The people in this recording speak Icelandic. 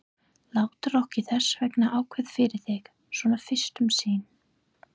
Láttu okkur þessvegna ákveða fyrir þig, svona fyrst um sinn.